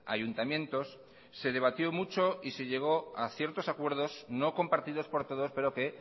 ayuntamientos se debatió mucho y se llegó a ciertos acuerdos no compartidos por todos pero que